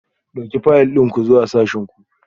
Ɗauki fayil ɗin ku zuwa sashin ku